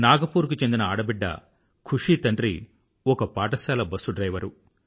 Nag poor కు చెందిన ఆడబిడ్డ ఖుషీ తండ్రి ఒక పాఠశాల బస్సు డ్రైవరు